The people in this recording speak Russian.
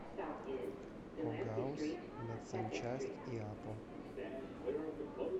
огауз медсанчасть иапо